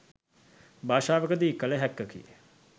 භාෂාවකදී කළ හැක්කකි.